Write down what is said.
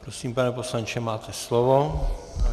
Prosím, pane poslanče, máte slovo.